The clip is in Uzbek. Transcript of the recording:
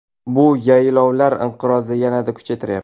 Bu yaylovlar inqirozini yanada kuchaytiryapti.